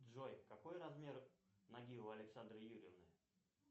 джой какой размер ноги у александры юрьевны